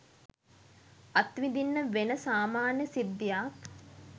අත්විඳින්න වෙන සාමාන්‍ය සිද්ධියක්.